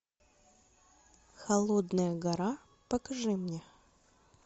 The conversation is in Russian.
холодная гора покажи мне